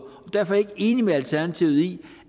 og derfor ikke enig med alternativet i